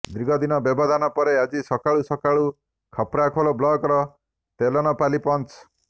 ଦୀର୍ଘଦିନ ବ୍ୟବଧାନ ପରେ ଆଜି ସକାଳୁ ସକାଳୁ ଖପ୍ରାଖୋଲ ବ୍ଲକର ତେଲେନପାଲି ପଞ୍ଚ